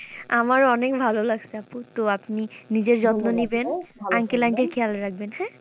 আমার অনেক ভালো লাগছে আপু তো আপনি নিজের যত্ন নিবেন uncle aunty র খেয়াল রাখবেন হ্যাঁ?